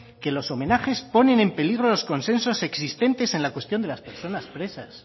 que los homenajes ponen en peligro los consensos existentes en la cuestión de las personas presas